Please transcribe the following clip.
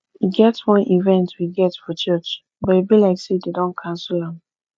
e get wan event we get for church but e be like say dey don cancel am